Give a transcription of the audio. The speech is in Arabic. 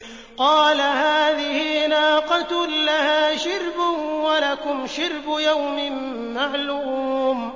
قَالَ هَٰذِهِ نَاقَةٌ لَّهَا شِرْبٌ وَلَكُمْ شِرْبُ يَوْمٍ مَّعْلُومٍ